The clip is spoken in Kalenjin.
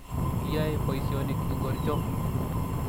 Iyoe poisyonik ingor cho?